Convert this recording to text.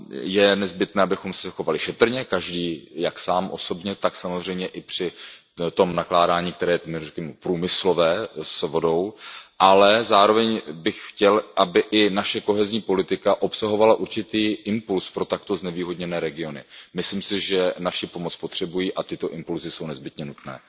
Je nezbytné, abychom se chovali šetrně, jak každý sám osobně, tak samozřejmě i při tom nakládání, které je řekněme průmyslové, s vodou, ale zároveň bych chtěl, aby i naše politika soudržnosti obsahovala určitý impuls pro takto znevýhodněné regiony. Myslím si, že naši pomoc potřebují a tyto impulsy jsou nezbytně nutné.